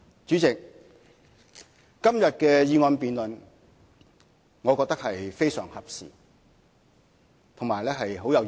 主席，今天的議案辯論我覺得非常合時，亦很有意義。